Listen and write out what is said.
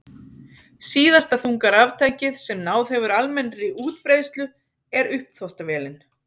Síðasta þunga raftækið sem náð hefur almennri útbreiðslu er uppþvottavélin.